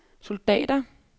soldater